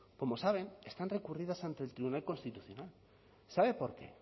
como saben están recurridas ante el tribunal constitucional sabe por qué